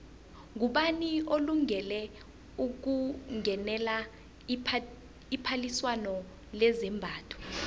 ngubani olungele ukungenela iphaliswano lezambatho